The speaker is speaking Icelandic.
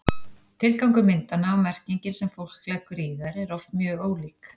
tilgangur myndanna og merkingin sem fólk leggur í þær eru oft mjög ólík